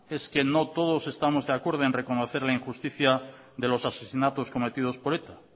es que no todo estamos de acuerdo en reconocer la injusticia de los asesinatos cometidos por eta